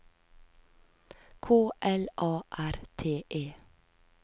K L A R T E